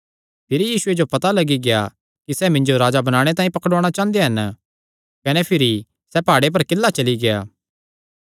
भिरी यीशुये जो पता लग्गी गेआ कि सैह़ मिन्जो राजा बणाणे तांई पकड़ुआणा चांह़दे हन कने भिरी सैह़ प्हाड़े पर किल्ला चली गेआ